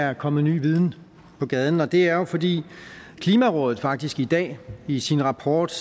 er kommet ny viden på gaden og det er der jo fordi klimarådet faktisk i dag i sin rapport